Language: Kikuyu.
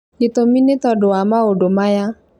gĩtũmi nĩ tondũ wa maũndũ maya: